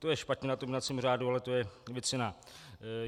To je špatně na tom jednacím řádu, ale to je věc jiná.